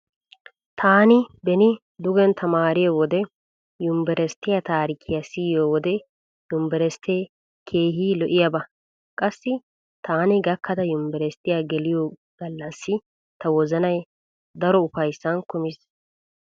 TTaani beni dugen tamaariyo wode yumbberesttiya taarikkiya siyiyo wode yumbberesttee keehi lo'iyaba. Qassi taani gakkada yumbberesttiya geliyo gallassi ta wozanay daro ufayssan kumiis.